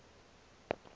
na ngaloo nto